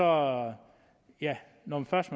og når først